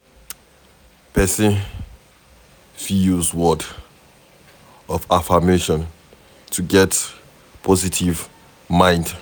person fit use words of affirmation to get positive mind